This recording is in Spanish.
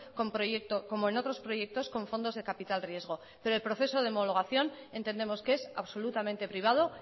como en otros proyectos con fondos de capital riesgo pero el proceso de homologación entendemos que es absolutamente privado